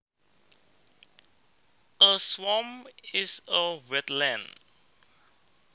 A swamp is a wetland